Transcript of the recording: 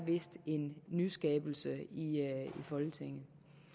en nyskabelse i folketinget